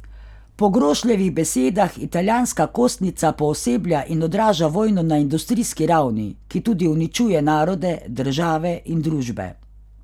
Po Grošljevih besedah italijanska kostnica pooseblja in odraža vojno na industrijski ravni, ki tudi uničuje narode, države in družbe.